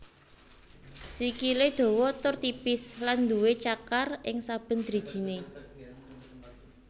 Sikilè dawa tur tipis lan duwé cakar ing saben drijinè